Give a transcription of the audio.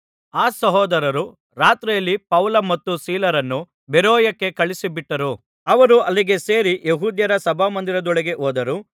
ಆ ಸಹೋದರರು ರಾತ್ರಿಯಲ್ಲಿ ಪೌಲ ಮತ್ತು ಸೀಲರನ್ನು ಬೆರೋಯಕ್ಕೆ ಕಳುಹಿಸಿಬಿಟ್ಟರು ಅವರು ಅಲ್ಲಿಗೆ ಸೇರಿ ಯೆಹೂದ್ಯರ ಸಭಾಮಂದಿರದೊಳಕ್ಕೆ ಹೋದರು